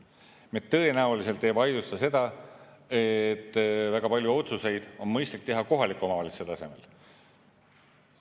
Me tõenäoliselt ei vaidlusta seda, et väga paljud otsused on mõistlik teha kohaliku omavalitsuse tasemel.